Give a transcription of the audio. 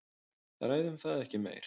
Ræðum það ekki meir.